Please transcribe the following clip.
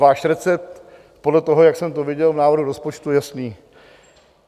Váš recept podle toho, jak jsem to viděl v návrhu rozpočtu, je jasný.